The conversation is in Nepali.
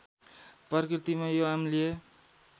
प्रकृतिमा यो अम्लीय